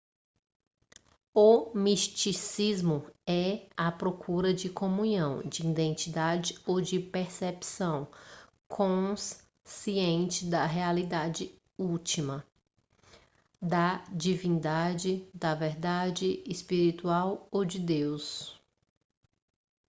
o misticismo é a procura de comunhão de identidade ou de percepção consciente da realidade última da divindade da verdade espiritual ou de deus